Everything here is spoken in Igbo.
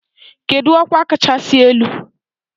Kedu ọkwa kachasị elu?